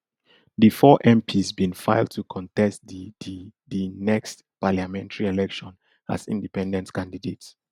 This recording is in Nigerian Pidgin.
di four mps bin file to contest di di the next parliamentary election as independent candidates